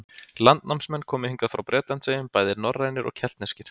Landnámsmenn komu hingað frá Bretlandseyjum bæði norrænir og keltneskir.